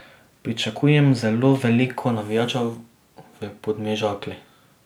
Pričakujem zelo veliko navijačev v Podmežakli.